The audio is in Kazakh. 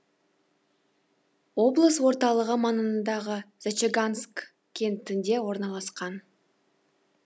облыс орталығы маңындағы зачаганск кентінде орналасқан